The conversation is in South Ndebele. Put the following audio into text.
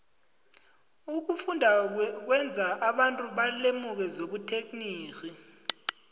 ukufunda kwenza abantu balemuke zobuterhnigi